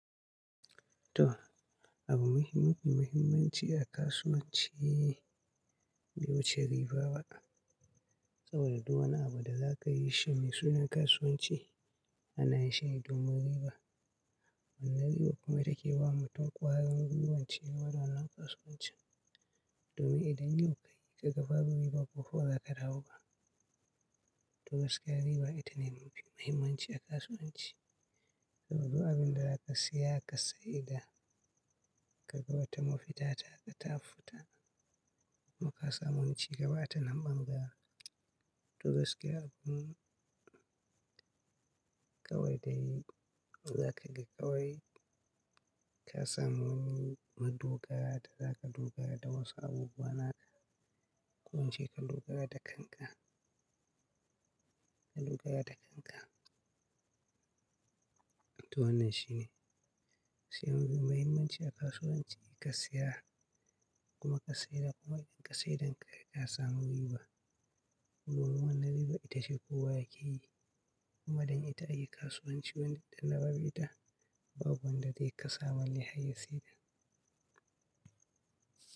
To, abu muhimm-- mafi muhimmanci a kasuwanci bai wuce riba ba. Saboda duk wani abu da za ka yi shi mai suna kasuwanci ana yin shi ne domin riba. Wannan ribar kuma ita ke ba wa mutum ƙwarin guiwar ci gaba da wannan kasuwanci domin idan yau ka yi ka ga babu riba gobe ba za ka dawo ba. Tabbas kayi riba ita ne mafi mahimmanci a kasuwanci. Saboda du abin da za ka saya ka saida ka ga wata mafita ta ka tafuta. Kuma kasa mu wani ci gaba a ta nan ɓangaren. To gaskiya abun ƙawai dai, za ka ga ƙawai ka samu madogara da za ka dogara da wasu abubuwa naka. Ku ince ka dogara da kanka. Ka dogara da kanka. To wannan shi ne. Shi abu mai mahimmanci a kasuwanci ka saya kuma ka saida kuma idan ka saidan ka ga ka sama riba. Kuma wannan riba ita ce kowa yake yi. Kuma don ita ake kasuwanci wani idan da babu ita babu wanda zai kasa balle har ya sai da.